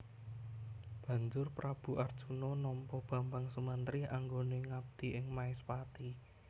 Banjur Prabu Arjuna nampa Bambang Sumantri anggone ngabdi ing Maespati